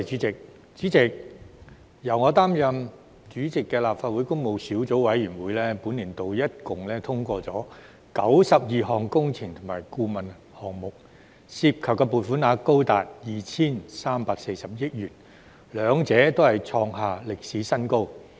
主席，由我擔任主席的立法會工務小組委員會，本年度合共通過92項工程及顧問項目，涉及撥款額高達 2,340 億元，兩者均創下歷史新高。